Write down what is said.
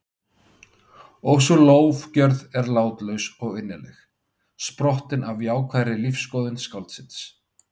Og sú lofgjörð er látlaus og innileg, sprottin af jákvæðri lífsskoðun skáldsins.